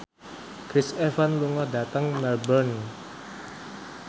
Chris Evans lunga dhateng Melbourne